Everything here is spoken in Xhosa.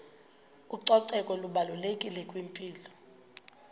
ucoceko lubalulekile kwimpilo